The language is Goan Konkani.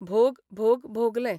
भोग भोग भोगलें.